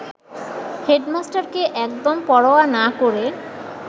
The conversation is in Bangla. হেডমাস্টারকে একদম পরোয়া না করে